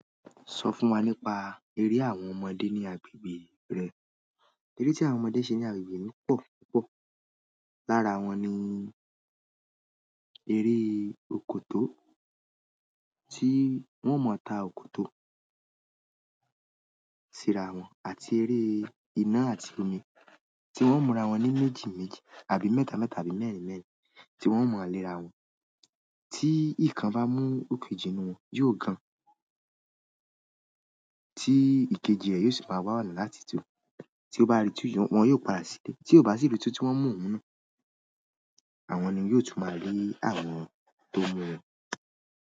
Sọ fún wa nípa eré àwọn ọmọdé ní agbègbè rẹ. Eré tí àwọn ọmọdé ń ṣe ní agbègbè mi pọ̀ púpọ̀. Lára wọn ni eré òkòtó, tí wọ́n mọ ta òkòtó síra wọn àti eré ina àti omi, tí wọ́n ń múra wọn ní méjì méjì àbí mẹ́ta mẹ́ta àbí mẹ́rin mẹ́rin, tí wọ́n ń mọ le ara wọn. Tí ìkan bá mú òkejì inú wọn, yóò gan an tí ìkejì rẹ yóò sì máa wà ọ̀nà láti tú. Tí ó bá rí tú, wọn yóò padà sílẹ̀. Tí ó bá sí rí tú tí wọ́n mú oun náà, àwọn ni yóò tún máa rí àwọn tó mú wọn.